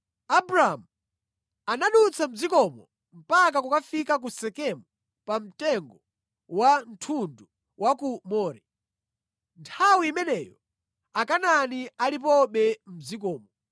Abramu anadutsa mʼdzikomo mpaka kukafika ku Sekemu pa mtengo wa thundu wa ku More. Nthawi imeneyo Akanaani analipobe mʼdzikomo.